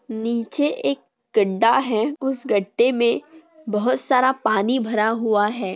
नीचे एक गड्डा है उस गड्डे में बहुत सारा पाणी भरा हुआ है।